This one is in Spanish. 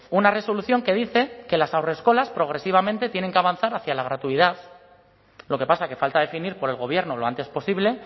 una resolución que dice que las haurreskolas progresivamente tienen que avanzar hacia la gratuidad lo que pasa que falta definir por el gobierno lo antes posible